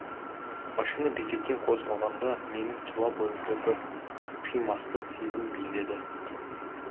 машина бекеттен қозғалғанда менің тұла бойымды бір қимастық сезім биледі